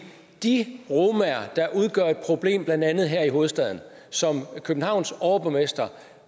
de romaer der udgør et problem blandt andet her i hovedstaden og som københavns overborgmester